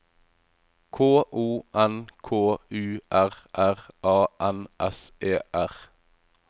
K O N K U R R A N S E R